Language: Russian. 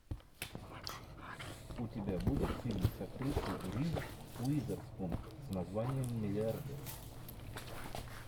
у тебя будет фильм с актрисой риз уизерспун с названием миллиардер